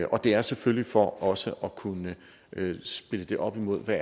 og det er selvfølgelig for også at kunne spille det op imod hvad